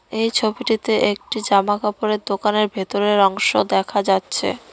এই ছবিটিতে একটি জামাকাপড়ের দোকানের ভিতরের অংশ দেখা যাচ্ছে।